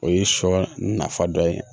O ye sɔ nafa dɔ ye